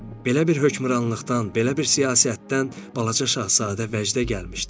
Belə bir hökmranlıqdan, belə bir siyasətdən balaca şahzadə vəcdə gəlmişdi.